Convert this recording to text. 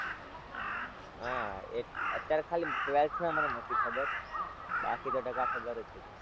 હાં એક અત્યારે ખાલી twelfth ના મને નતી ખબર બાકી તો ટકા ખબર જ હતી.